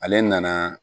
Ale nana